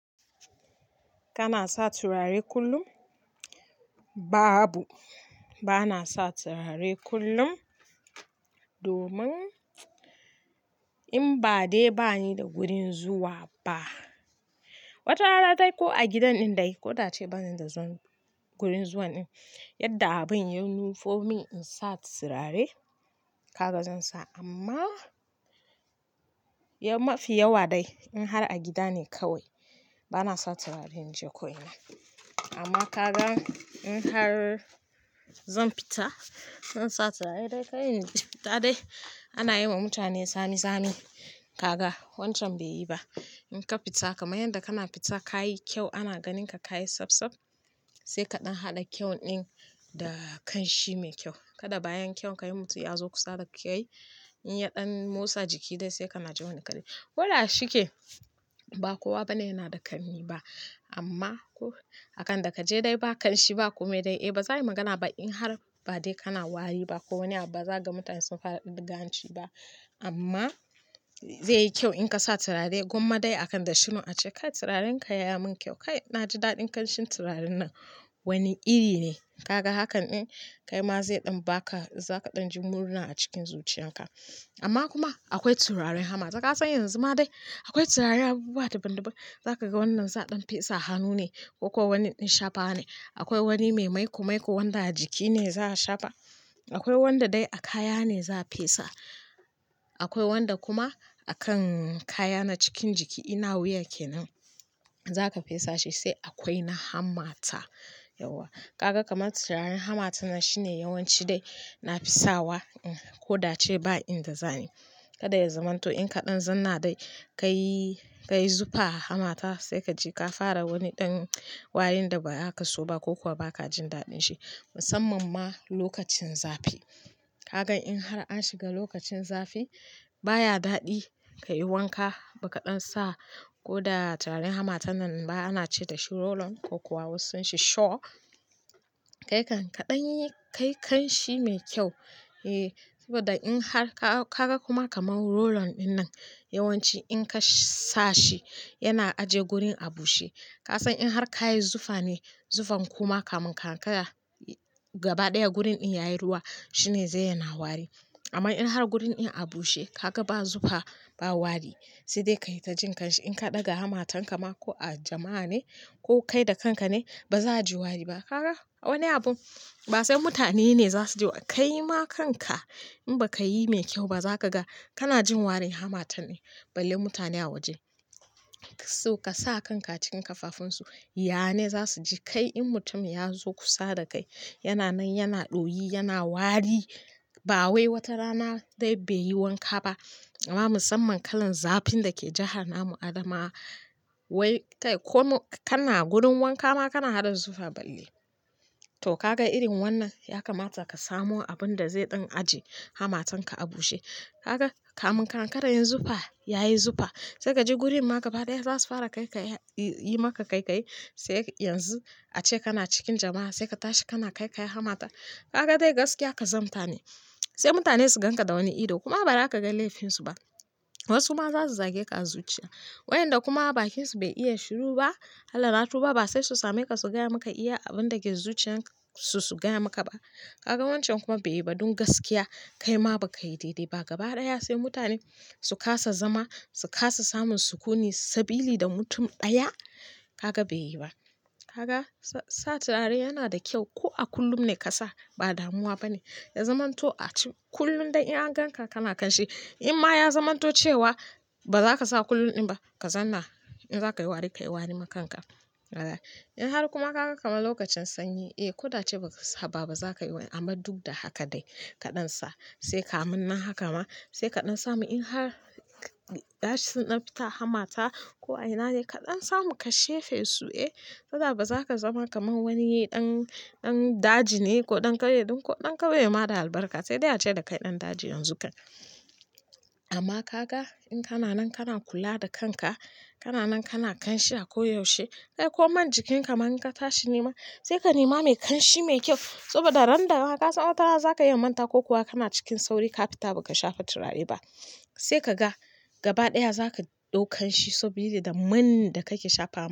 Kana sa turare kullum? Ba abu, ba na sa turare kullum domin in ba dai bani da gurin zuwa ba. Wata rana dai ko a gidan din dai, ko dai ba zan da zan gurin zuwa din, yadda abun ya nufi mun in sa turare, kaga zan sa amma mafi yawa dai in har a gida ne kawai bana sa turare in je ko ina. Amma kaga in har zan fita, in sa turare dai kai in fita dai ana yi wa mutane tsami-tsami. Kaga wancan bai yi ba. In ka fita kam yanda kana fita ka yi kyau ana ganin ka ka yi tsab tsab sai kaɗan haɗa kyau din da kanshi me kyau. Kada bayan kyau kai mutum yazo kusa da kai inya motsa jiki kana jin wani karni koda shike ba kowa bane yana da kanni ba amma akan da ka je dai ba kanshi ba kome dai eh ba za a yi magana ba in har ba dai kana wari ba ko wani abu ba za ka ga mutane sun fara riganci ba amma zai yi kyau in ka sa turare gwamma dai akan da shi in a ce kai turarenka ya yi mun kyau. Kai na ji daɗin kanshin turaren nan wani iri ne. Kaga hakan din kaima ze dan baka za kadan ji murna a cikin zuciyan ka amma kuma akwai turaren hamata kasan yanzu ma dai akwai turare abubuwa dabandaban zakaga wannan za a dan fesa a hannu ne koko wannan din shafawane. Akwai wani mai maiko-maiko wanda a jiki ne za a shafa. Akwai wanda dai a kaya ne za a fesa. Akwai wanda kuma akan kaya na cikin jiki ina wuya ke nan za ka fesa shi sai akwai na hammata, yauwa. Kaga kamar turaren hammatan nan shine yawanci dai na fisawa in ko da ce ba in da zani. Kada ya zamanto in kaɗan zam na dai ka yi, ka yi zufa hamata sai ka ji ka fara wani ɗan wayoyin da ba aka so ba ko kuwa ba ka jin daɗin shi musamman ma lokacin zafi. Kaga in har an shiga lokacin zafi baya daɗi ka yi wanka ba kaɗan sa ko da turaren hamatan nan ba ana ce da shi roll-on ko kuwa wasu sun shi shaw. Kai kan kaɗan yi kai kanshi me kyau, eh saboda in har ka-kaga kuma kaman roll-on ɗin nan yawanci in ka sa shi yana aje gurin a bushe. Kasan in har kayi zufane zufan kuma kamun ka ankara gabadaya gurin din yayi ruwa shine ze yana wari amma in har gurin in a bushe kaga ba zufa ba wari sai dai ka yi ta jin kanshi. In ka ɗaga hamata kama ko a jama'a ne ko kai da kanka ne ba za a ji wari ba. Kaga wani abun ba sai mutane ne za su ji. Kaima kanka in bakai me kyauba zaka kana jin warin hamatan din balle mutane a waje. So ka sa kanka cikin kafafunsu, ya ne za su ji? Kai in mutum ya zo kusa da kai yana nan yana ɗoyi yana wari ba wai wata rana dai bai yi wanka ba amma musamman kalan zafin da ke jahar namu Adamawa. Wai kai komo kana gurin wanka ma kana hada zufa balle. Toh kaga irin wannan ya kamata ka samo abun da zai ɗan aje hamatan ka a bushe. Kaga kamun ka ankara yanzufa yayi zufa, ya yi zufa sai ka je gurin ma gaba ɗaya za su fara kai ka yi maka kaikayi sai yanzu a ce kana cikin jama'a sai ka tashi kana kai kai hamata. Kaga dai gaskiya kazanta ne sai mutane su ganka da wani ido kuma baza kaga lefinsu ba wasuma za su zageka a zuciya. Wayanda kuma bakinsu bai iya shiru ba, Allah na tu ba sai su same ka su gaya maka iya abun da ke zuciyan su su gaya maka ba. Kaga wancan kuma bai yi ba don gaskiya kai ma ba ka yi daidai ba. Gaba ɗaya sai mutane su kasa zama, su kasa samun sukuni sabili da mutum ɗaya kaga be yiba kaga sa turare yana da kyau ko a kullum ne ka sa ba damuwa bane. Ya zamanto a ci kullum dai in an gan ka kana kanshi. In ma ya zamanto cewa ba za ka sa kullum din ba, ka zanna in za ka yi wari ka yi wari ma kanka. In har kuma kaga kamar lokacin sanyi eh ko da ce ba ka saba ba za ka yi wari amma duk da haka dai kaɗan sa sai kamun nan haka ma sai kaɗan samu in har gashi sun dan fita hamata ko ainane kaɗan samu ka shefe su, eh kada ba za ka zama kamar wani ɗan, ɗan daji ne ko ɗan ƙauye ɗin ko ɗan ƙauye ma da albarka sai dai a ce da kai ɗan daji yanzu kan. Amma kaga in kana nan kana kula da kanka, kana nan kana kanshi a koyaushe, sai ko man jikinka man ka tashi nema sai ka nema mai kanshi mai kyau saboda ran da aka san wata rana za ka yi mantawa ko kuwa kana cikin sauri ka fita ba ka shafa turare ba sai ka ga gaba ɗaya za ka ɗau kanshi sabili da man da ka ke shafa.